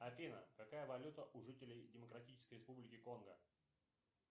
афина какая валюта у жителей демократической республики конго